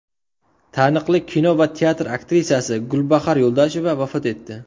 Taniqli kino va teatr aktrisasi Gulbahor Yo‘ldosheva vafot etdi.